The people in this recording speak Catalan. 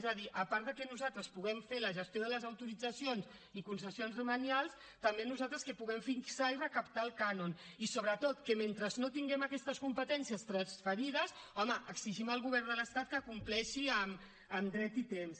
és a dir a part de que nosaltres puguem fer la gestió de les autoritzacions i concessions demanials també nosaltres que puguem fixar i recaptar el cànon i sobretot que mentre no tinguem aquestes competències transferides home exigim al govern de l’estat que compleixi amb dret i temps